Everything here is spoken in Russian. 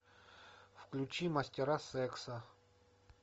включи мастера секса